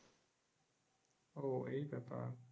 ও এই ব্যাপার?